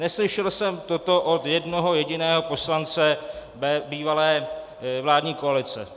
Neslyšel jsem toto od jednoho jediného poslance bývalé vládní koalice.